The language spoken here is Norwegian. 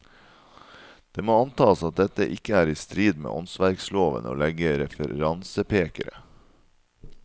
Det må antas at dette ikke er i strid med åndsverkloven å legge referansepekere.